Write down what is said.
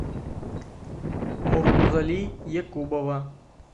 муртузали якубова